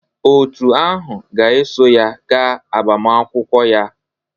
Òtù ahụ ga-eso ya gaa agbamakwụkwọ ya